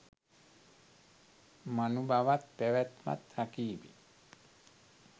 මනුබවත් පැවැත්මත් රකිව්